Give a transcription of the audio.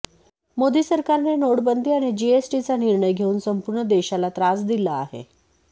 मोदी सरकारने नोटबंदी आणि जीएसटीचा निर्णय घेऊन संपूर्ण देशाचा त्रास दिला आहे